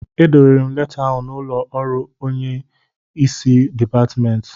Edowere m leta ahụ n'ụlọ ọrụ nke onye isi Dipatmentị